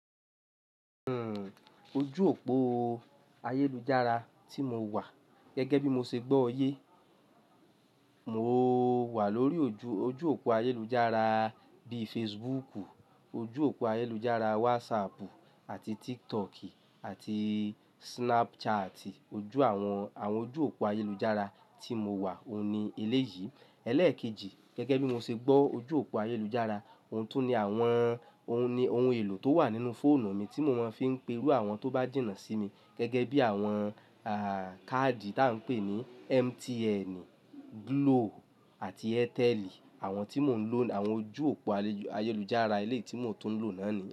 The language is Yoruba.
Hmm ojú òpó ayélujára tí mo wà gẹ́gẹ́ bí mo ṣe gbọ́ yé, mo wà lórí ojú, ojú òpó ayélujára bíi Facebooku, ojú òpó ayélujára WhatsAppu àti TikToki àti Snapchati. Ojú àwọn, àwọn ojú òpó ayélujára tí mo wà òun ni eléyìí. Ẹlẹ́ẹ̀kejì gẹ́gẹ́ bí mo ṣe gbọ́ ojú òpó ayélujára, òun tún ni àwọn, òun ni ohun èlò tó wà nínú fóònù mi tí mo máa ń fi ń pe irú àwọn tó bá jìnà sí mi gẹ́gẹ́ bí àwọn ah cardi táa ń pè ní MTNi, Glo àti Airteli. Àwọn tí mò ń lò, àwọn ojú òpó ayélujára eléyi tí mò ń tún lò náà ni.